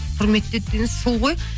құрметтейді деген сол ғой